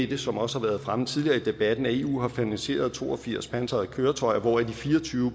det som også har været fremme tidligere i debatten at eu har finansieret to og firs pansrede køretøjer hvoraf de fire og tyve